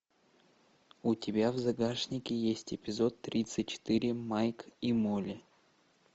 у тебя в загашнике есть эпизод тридцать четыре майк и молли